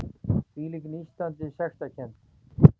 Hvílík nístandi sektarkennd!